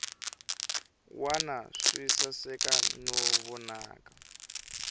wana swi saseka no vonaka